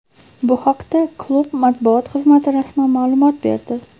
Bu haqda klub matbuot xizmati rasman ma’lumot berdi.